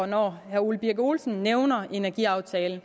når herre ole birk olesen nævner energiaftalen